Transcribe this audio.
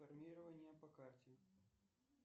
формирование по карте